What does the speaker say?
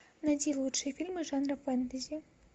найти лучшие фильмы жанра фэнтези